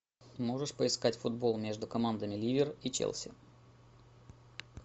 можешь поискать футбол между командами ливер и челси